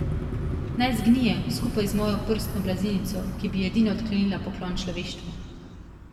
Naj zgnije, skupaj z mojo prstno blazinico, ki bi edina odklenila poklon človeštvu.